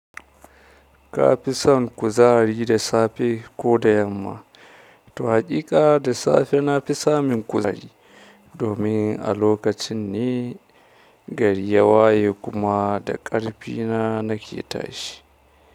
Ka fi san kuzari da safe ko da yamma? Haƙiƙa da safe na fi samin kuzari domin a lokacin ne, gari ya waye kuma da ƙarfi na nake tashi.